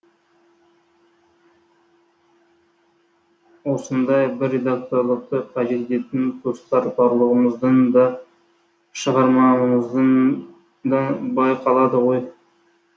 осындай бір редакторлықты қажет ететін тұстар барлығымыздың да шығармамыздан байқалады ғой